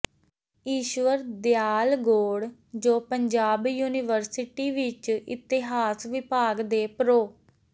ਈਸ਼ਵਰ ਦਿਆਲ ਗੌੜ ਜੋ ਪੰਜਾਬ ਯੂਨੀਵਰਸਟੀ ਵਿਚ ਇਤਿਹਾਸ ਵਿਭਾਗ ਦੇ ਪ੍ਰੋ